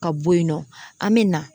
Ka bɔ yen nɔ an mɛ na